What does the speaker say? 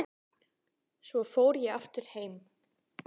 Svo fór ég aftur heim.